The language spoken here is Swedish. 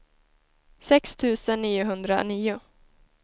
sex tusen niohundranio